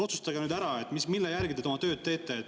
Otsustage nüüd ära, mille järgi te oma tööd teete.